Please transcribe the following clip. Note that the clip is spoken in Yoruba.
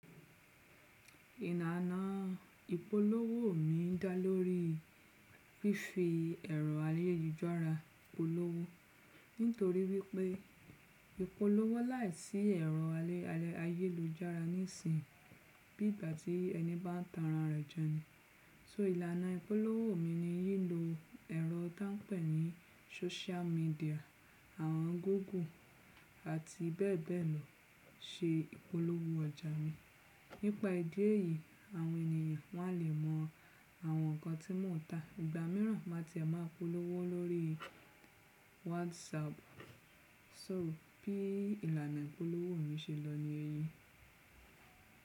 Ìlànà ìpolówó mi dá lórí fífi ẹ̀rọ ayélujára polówó. Nítorí wípé ìpolówó láìsí ẹ̀rọ ayélujára nísìn bi ìgbà tí ẹni bá n tan ara rẹ̀ jẹ ni. So ìlànà ìpolówó mi ni lí lo ẹ̀rọ tí wọ́n pẹ̀ ní social media, àwọn google àti bẹ́ẹ̀ bẹ́ẹ̀ lọ ṣe ìpolówó ọjà mi. Nípa ìdí èyí àwọn ènìyàn wọ́n á lè mọ àwọn nǹkan tí mò ń ta. Ìgbà míràn má tí ẹ máa polówó lórí WhatsApp. So bí ìlànà ìpolówó mi ṣe lọ ni èyí.